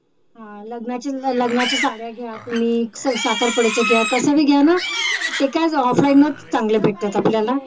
हा लग्न लग्नाच्या साड्या घ्या तुम्ही साखरपुड्याच्या घ्या कस भी घ्या ना ते काय ना offline च चांगलं भेटत आपल्याला